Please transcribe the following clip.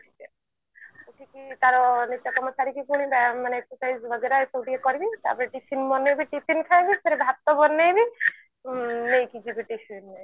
ଉଠିକି ତାର ନିତ୍ୟକର୍ମ ସାରିକି ପୁଣି ବ୍ୟାୟମ ମାନେ exercise ବଗେରା ଏସବୁ ଟିକେ କରିବି ତାପରେ tiffin ବନେଇବି tiffin ଖାଇବି ଫେରେ ଭାତ ବନେଇବି ଉଁ ନେଇକି ଯିବି tiffin ରେ